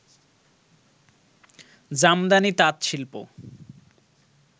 Jamdani তাঁতশিল্প